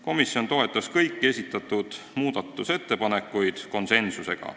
Komisjon toetas kõiki esitatud muudatusettepanekuid konsensusega.